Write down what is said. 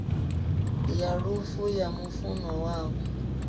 ya lufu ya mufunwa wavho